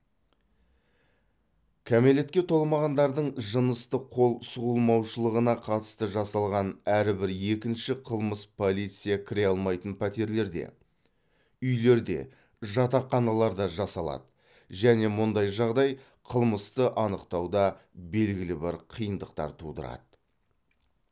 кәмелетке толмағандардың жыныстық қол сұғылмаушылығына қатысты жасалған әрбір екінші қылмыс полиция кіре алмайтын пәтерлерде үйлерде жатақханаларда жасалады және мұндай жағдай қылмысты анықтауда белгілі бір қиындықтар тудырады